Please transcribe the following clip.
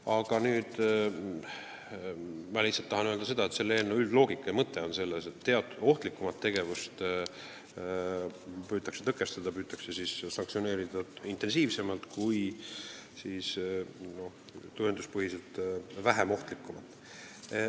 Aga ma tahan öelda, et selle eelnõu üldloogika ja mõte on selles, et teatud ohtlikumat tegevust püütakse tõkestada ja sanktsioneerida intensiivsemalt kui tõenduspõhiselt vähem ohtlikku.